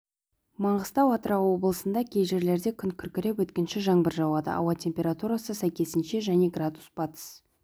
маңғыстау атырау облысында кей жерлерде күн күркіреп өткінші жаңбыр жауады ауа температурасы сәйкесінше және градус батыс